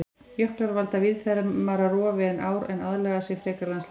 Jöklar valda víðfeðmara rofi en ár en aðlaga sig frekar landslaginu.